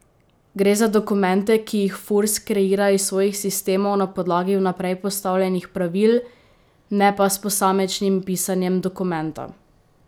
Gre za dokumente, ki jih Furs kreira iz svojih sistemov na podlagi vnaprej postavljenih pravil, ne pa s posamičnim pisanjem dokumenta.